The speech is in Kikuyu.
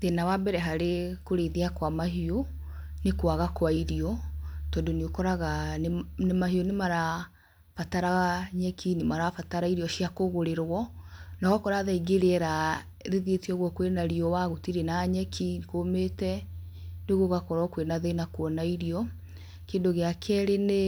Thĩna wa mbere harĩ kũrĩithia kwa mahiũ nĩ kwaga kwa irio tondũ nĩ ũkoraga mahĩo nĩ marabatara nyeki nĩ marabatara irio cia kũgũrĩrwo na ũgakora thaa ingĩ rĩera rĩthiĩte ũgũo kwĩna riũa, gũtirĩ na nyeki kũmĩte rĩu gũgakorwo kwĩna thina kuona irio, kĩndũ gĩa kerĩ nĩ